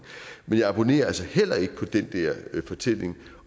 men jeg abonnerer altså heller ikke på den der fortælling